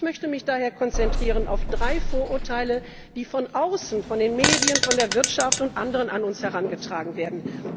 Ich möchte mich daher konzentrieren auf drei Vorurteile, die von außen von den Medien, von der Wirtschaft und anderen an uns herangetragen werden.